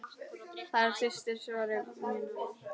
Þær systur voru mjög nánar.